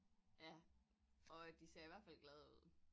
Ja og de ser i hvert fald glade ud